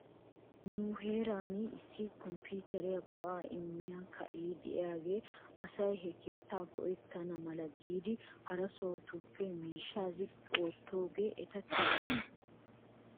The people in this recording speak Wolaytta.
Nu heeran issi kompiitere go'aa immiyaa keea diyaagee asay he keettaa go'ettana mala giidi hara sohotuppe miishshaa ziqqi oottiyoogee eta kessii?